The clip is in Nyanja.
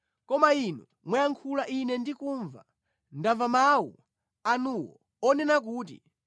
“Koma inu mwayankhula ine ndikumva, ndamva mawu anuwo onena kuti,